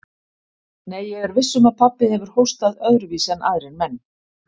Nei, ég er viss um að pabbi hefur hóstað öðruvísi en aðrir menn.